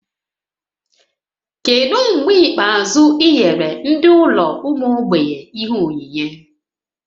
Kedu mgbe ikpeazụ ị nyere ndị ụlọ ụmụ mgbei ihe onyinyé?